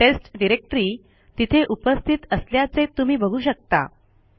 taste directory तिथे उपस्थित असल्याचे तुम्ही बघू शकता